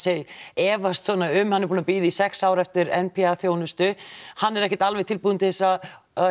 efast svona um að hann er búinn að bíða í sex ár eftir n p a þjónustu hann er ekkert alveg tilbúin til að